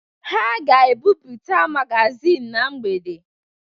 Ha ga-ebipụta magazịn na mgbede.